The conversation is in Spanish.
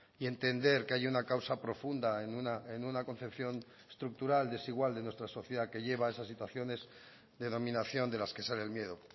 y entender que hay una causa profunda en una concepción estructural desigual de nuestra sociedad que lleva a esas situaciones de dominación de las que sale el miedo